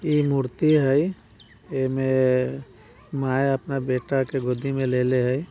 ये मूर्ति हई ये मे माँ अपना बेटा के गोदी में ले ले हई।